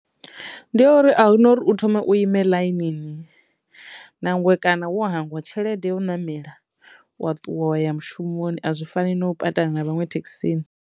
Ndi yo uri ahuna uri u thome u ime ḽainini nangwe kana wo hangwa tshelede yo u ṋamela wa ṱuwa wa ya mushumoni a zwi fani na u patana na vhaṅwe thekhisini.